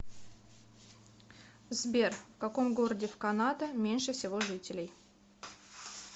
сбер в каком городе в канада меньше всего жителей